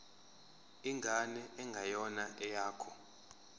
ingane engeyona eyakho